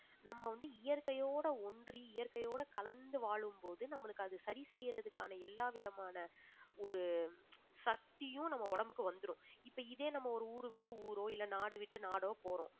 நம்ம நம்ம வந்து இயற்கையோட ஒன்றி இயற்கையோட கலந்து வாழும்போது நம்மளுக்கு அது சரி செய்யறதுக்கான எல்லா விதமான ஒரு சக்தியும் நம்ம உடம்புக்கு வந்துரும் இப்ப இதே நம்ம ஒரு ஊரை விட்டு ஊரோ இல்லை நாடு விட்டு நாடோ போறோம்